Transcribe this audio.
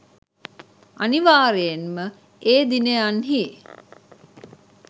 අනිවාර්යයෙන් ම ඒ දිනයන්හි